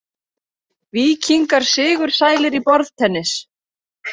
Víkingar sigursælir í borðtennis